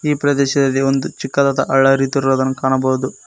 ಈ ಪ್ರದೇಶದಲ್ಲಿ ಒಂದು ಚಿಕ್ಕದಾದ ಹಳ್ಳ ಹರಿಯುತ್ತಿರುವುದನ್ನು ಕಾಣಬಹುದು.